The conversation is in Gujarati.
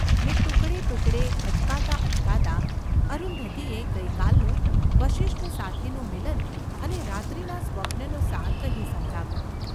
ને ટુકડે ટુકડે, અચકાતાં અચકાતાં, અરુંધતીએ ગઈ કાલનું વસિષ્ઠ સાથેનું મિલન અને રાત્રિનાં સ્વપ્નનો સાર કહી સંભળાવ્યો.